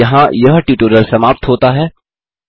यहाँ यह ट्यूटोरियल समाप्त होता है